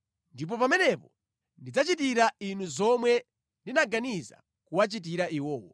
Ndipo pamenepo ndidzachitira inu zomwe ndinaganiza kuwachitira iwowo.’ ”